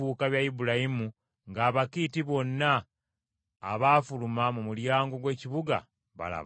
Ibulayimu nga Abakiiti bonna abaafuluma mu mulyango gw’ekibuga balaba.